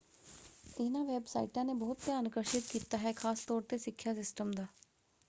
ਇਹਨਾਂ ਵੈੱਬਸਾਈਟਾਂ ਨੇ ਬਹੁਤ ਧਿਆਨ ਆਕਰਸ਼ਿਤ ਕੀਤਾ ਹੈ ਖ਼ਾਸ ਤੌਰ 'ਤੇ ਸਿੱਖਿਆ ਸਿਸਟਮ ਦਾ।